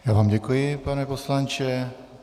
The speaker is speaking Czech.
Já vám děkuji, pane poslanče.